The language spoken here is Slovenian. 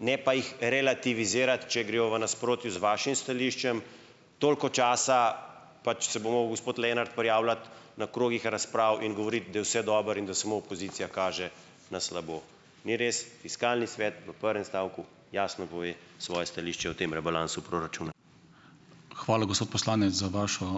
ne pa jih relativizirati, če grejo v nasprotju z vašim stališčem, toliko časa pač se bo mogel gospod Lenart prijavljati na krogih razprav in govoriti, da je vse dobro in da samo opozicija kaže na slabo. Ni res, Fiskalni svet v prvem stavku jasno pove svoje stališče o tem rebalansu proračuna.